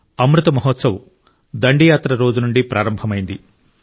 అమృత్ మహోత్సవ్ దండి యాత్ర రోజు నుండి ప్రారంభమైంది